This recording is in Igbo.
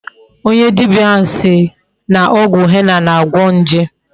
Onye dibia ahu siri na ogwu henna na-agwo nje